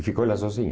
E ficou lá sozinha.